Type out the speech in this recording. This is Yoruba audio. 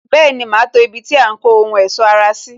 Bẹẹni, ma to ibi tí a ń kó ohun ẹ̀sọ́ ara sí